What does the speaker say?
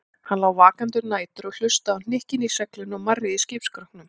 Hann lá vakandi um nætur og hlustaði á hnykkina í seglinu og marrið í skipsskrokknum.